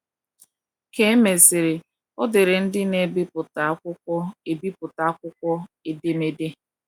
Ka e mesịrị, o deere ndị na - ebiputa akwụkwo ebiputa akwụkwo edemede.